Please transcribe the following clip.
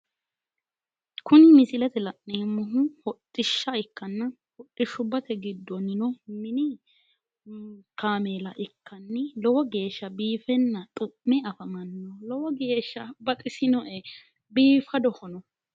Tini misilete la'neemmohu hodhishsha ikkanna, hodhishshubba giddonni mini kaameela ikkanni lowo geeshsha biiffenna xu'me afamanno, lowo geeshsha baxisinoe biifadohono.